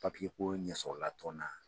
Papii ko ɲɛsɔrɔla ton na.